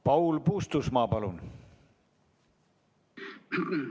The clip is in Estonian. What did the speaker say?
Paul Puustusmaa, palun!